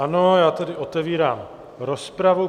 Ano, já tedy otevírám rozpravu.